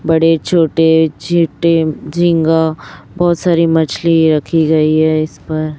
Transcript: बड़े छोटे छेटे झींगा बहुत सारी मछली रखी गई है इस पर।